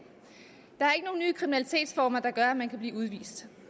at kriminalitetsformer der gør at man kan blive udvist